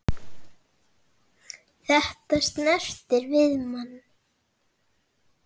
Þetta snertir við manni.